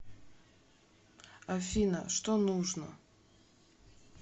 афина что нужно